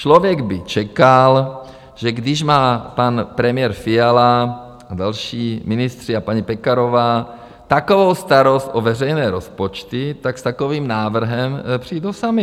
Člověk by čekal, že když má pan premiér Fiala a další ministři a paní Pekarová takovou starost o veřejné rozpočty, tak s takovým návrhem přijdou sami.